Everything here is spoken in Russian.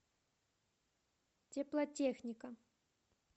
теплотехника